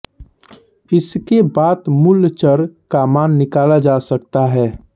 इसके बात मूल चर का मान निकाला जा सकता है